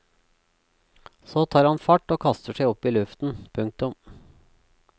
Så tar han fart og kaster seg opp i luften. punktum